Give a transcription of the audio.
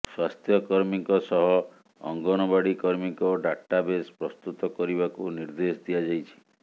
ସ୍ୱାସ୍ଥ୍ୟ କର୍ମୀଙ୍କ ସହ ଅଙ୍ଗନବାଡ଼ି କର୍ମୀଙ୍କ ଡାଟା ବେସ୍ ପ୍ରସ୍ତୁତ କରିବାକୁ ନିର୍ଦ୍ଦେଶ ଦିଆଯାଇଛି